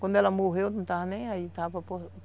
Quando ela morreu, eu não estava nem aí.